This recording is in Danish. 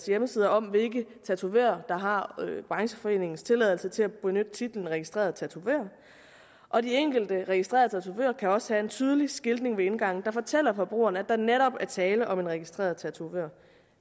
hjemmeside om hvilke tatovører der har brancheforeningens tilladelse til at benytte titlen registreret tatovør og de enkelte registrerede tatovører kan også have en tydelig skiltning ved indgangen der fortæller forbrugerne at der netop er tale om en registreret tatovør